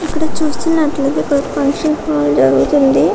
ఇక్కడ చూసినట్టు అయితే ఇక్కడ ఫంక్షన్ హాల్ జరుగుతుంది.